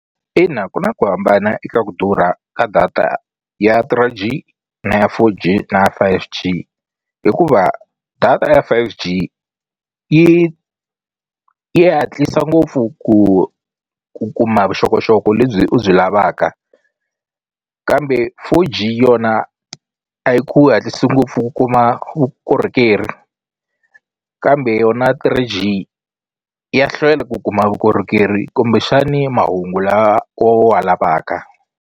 Ina ku na ku hambana eka ku durha ka data ya Three G na ya Four G na ya Five G hikuva data ya Five G yi yi hatlisa ngopfu ku ku kuma vuxokoxoko lebyi u byi lavaka kambe Four G yona a yi hatlisi ngopfu ku kuma vukorhokeri kambe yona Three G ya hlwela ku kuma vukorhokeri kumbexani mahungu lawa wa wa lavaka.